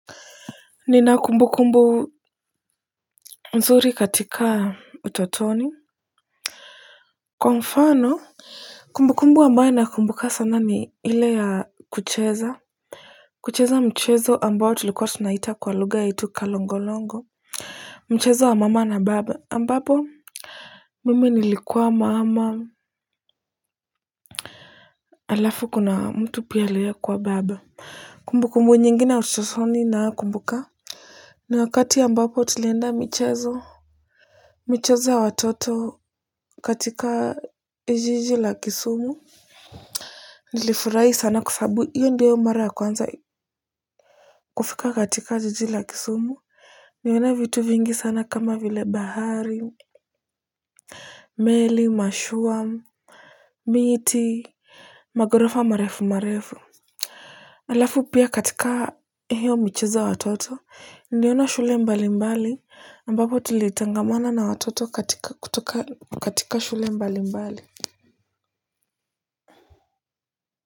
Nina kumbu kumbu mzuri katika utotoni kwa mfano kumbu kumbu ambayo nakumbuka sana ni ile ya kucheza kucheza mchezo ambao tulikuwa tunaita kwa lugha yetu kalongolongo mchezo wa mama na baba ambapo mimi nilikuwa mama. Alafu kuna mtu pia aliyekuwa baba kumbu kumbu nyingine ya utotoni nakumbuka ni wakati ambapo tulienda mchezo michezo ya watoto katika jiji la Kisumu. Nilifurahi sana kwa sababu hiyo ndiyo mara ya kwanza kufika katika jiji la Kisumu niliona vitu vingi sana kama vile bahari meli, mashua, miti, maghorofa marefu marefu halafu pia katika hiyo michezo ya watoto niliona shule mbali mbali ambapo tulitangamana na watoto katika kutoka katika shule mbali mbali kwa hivyo.